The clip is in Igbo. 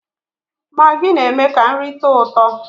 Magị na-eme ka nri tọọ ụtọ